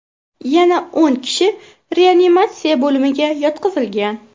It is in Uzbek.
Yana o‘n kishi reanimatsiya bo‘limiga yotqizilgan.